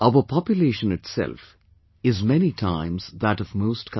Our population itself is many times that of most countries